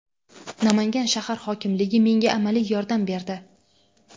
Namangan shahar hokimligi menga amaliy yordam berdi.